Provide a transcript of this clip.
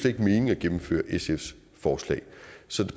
ikke mening at gennemføre sfs forslag så